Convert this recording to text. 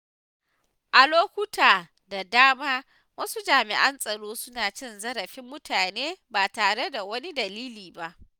A lokuta da dama wasu jami’an tsaron suna cin zarafin mutane ba tare da wani dalili ba.